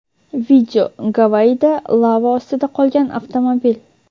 Video: Gavayida lava ostida qolgan avtomobil.